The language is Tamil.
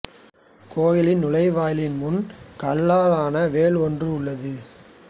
கோவிலின் நுழைவாயிலின் முன் கல்லால் ஆன வேல் ஒன்று உள்ளது